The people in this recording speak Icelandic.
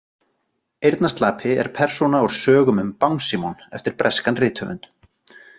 Eyrnaslapi er persóna úr sögunum um „Bangsímon“ eftir breskan rithöfund.